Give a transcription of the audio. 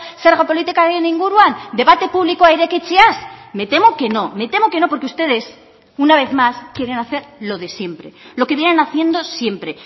zerga politikaren inguruan debate publikoa irekitzeaz me temo que no me temo que no porque ustedes una vez más quieren hacer lo de siempre lo que vienen haciendo siempre